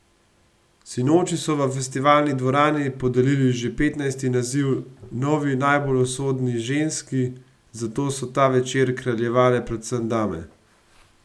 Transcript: Sinoči so v Festivalni dvorani podelili že petnajsti naziv novi najbolj usodni ženski, zato so ta večer kraljevale predvsem dame.